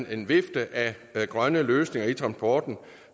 er en vifte af grønne løsninger i transporten